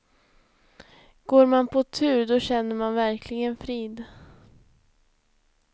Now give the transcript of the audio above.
Går man på tur då känner man verkligen frid.